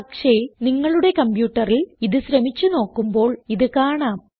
പക്ഷേ നിങ്ങളുടെ കംപ്യൂട്ടറിൽ ഇത് ശ്രമിച്ച് നോക്കുമ്പോൾ ഇത് കാണാം